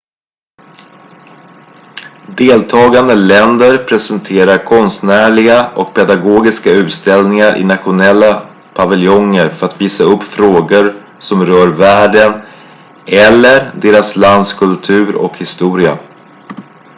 deltagande länder presenterar konstnärliga och pedagogiska utställningar i nationella paviljonger för att visa upp frågor som rör världen eller deras lands kultur och historia